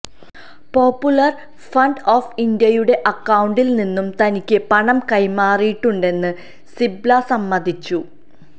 popular front of ഇന്ത്യയുടെ അക്കൌണ്ടില്നിന്ന് തനിക്ക് പണം കൈമാറിയിട്ടുണ്ടെന്ന് സിബല് സമ്മതിച്ചു